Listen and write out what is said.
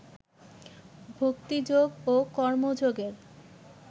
ভক্তিযোগ ও কর্মযোগের